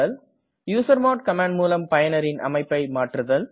usermod command முலம் பயனரின் அமைப்பை மாற்றுதல்